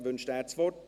Wünscht er das Wort?